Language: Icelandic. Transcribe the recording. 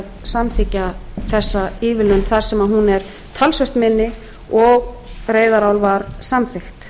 að samþykkja þessa ívilnun þar sem hún er talsvert minni og reyðarál var samþykkt